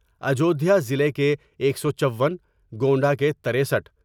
اجودھیاضلع کے ایک سو چون گونڈہ کے ترستھ